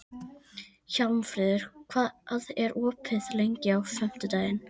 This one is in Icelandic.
Hjálmfríður, hvað er opið lengi á fimmtudaginn?